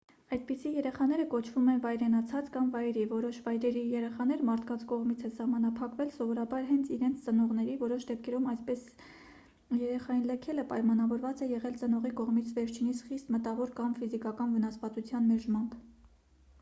այդպիսի երեխաները կոչվում են «վայրենացած» կամ վայրի: որոշ վայրի երեխաներ մարդկանց կողմից են սահմանափակվել սովորաբար հենց իրենց ծնողների. որոշ դեպքերում այսպես երեխային լքելը պայմանավորված է եղել ծնողի կողմից վերջինիս խիստ մտավոր կամ ֆիզիկական վնասվածության մերժմամբ: